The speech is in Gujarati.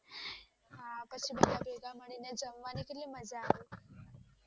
ભેગા મળીને જમવાની કેટલી મજા આવે